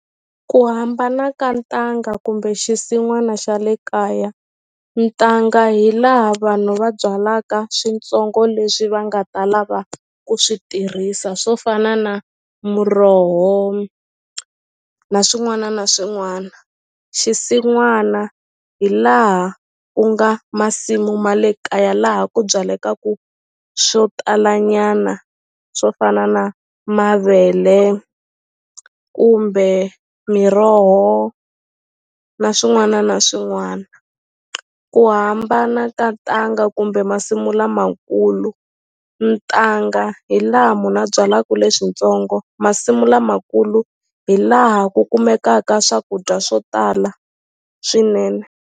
Ku hambana ka ntanga kumbe xinsin'wana xa le kaya ntanga hi laha vanhu va byalaka switsongo leswi va nga ta lava ku swi tirhisa swo fana na muroho na swin'wana na swin'wana xinsin'wana hi laha ku nga masimu ma le kaya laha ku byaleku swo tala nyana swo fana na mavele kumbe miroho na swin'wana na swin'wana ku hambana ka ntanga kumbe masimu lamakulu ntanga hi laha munhu a byalaku leswintsongo masimu lamakulu hi laha ku kumekaka swakudya swo tala swinene.